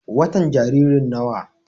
watan Jariri nawa?